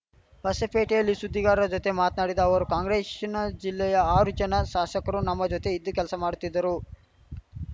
ಹೊಸಪೇಟೆಯಲ್ಲಿ ಸುದ್ದಿಗಾರರ ಜೊತೆ ಮಾತ್ನಾಡಿದ ಅವರು ಕಾಂಗ್ರೆಶ್ ನ ಜಿಲ್ಲೆಯ ಆರು ಜನ ಶಾಶಕರು ನಮ್ಮ ಜೊತೆ ಇದ್ದು ಕೆಲಸ ಮಾಡುತ್ತಿದ್ದರು